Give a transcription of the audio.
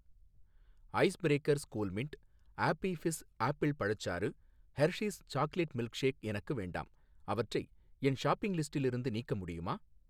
Ice Breakers Coolmint Appy Fizz apple பழச்சாறு, Hershey's chocolate milkshake எனக்கு வேண்டாம் அவற்றை என் ஷாப்பிங் லிஸ்டிலிருந்து நீக்க முடியுமா?